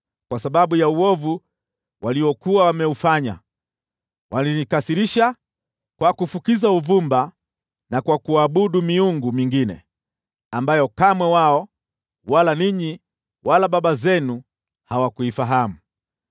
kwa sababu ya uovu waliokuwa wameufanya. Walinikasirisha kwa kufukiza uvumba na kwa kuabudu miungu mingine ambayo kamwe wao, wala ninyi, wala baba zenu hawakuifahamu.